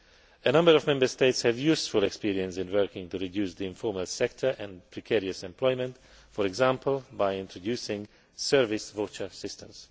A number of Member States have useful experience in working to reduce the informal sector and precarious employment, for example, by introducing service voucher systems.